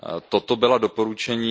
Toto byla doporučení.